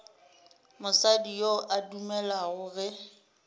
mosadi yo a dumelago ge